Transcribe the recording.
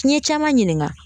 N ye caman ɲininga